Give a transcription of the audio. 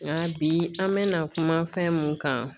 Nga bi an be na kuma fɛn mun kan